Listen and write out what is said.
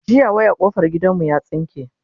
jiya wayan kofar gidan mu ya tsinke